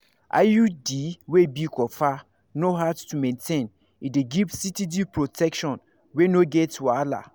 iud wey be copper no hard to maintain e dey give steady protection wey no get wahala